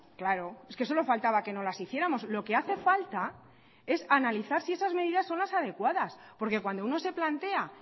claro es que solo faltaba que no las hiciéramos lo que hace falta es analizar si esas medidas son las adecuadas porque cuando uno se plantea